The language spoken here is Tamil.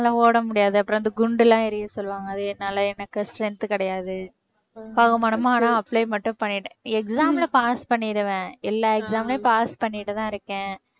ஓட முடியாது அப்புறம் அந்த குண்டெல்லாம் எறிய சொல்லுவாங்க அது என்னால எனக்கு strength கிடையாது. பகுமானமா ஆனா apply மட்டும் பண்ணிட்டேன் exam ல pass பண்ணிடுவேன் எல்லா exam லயும் pass பண்ணிட்டு தான் இருக்கேன்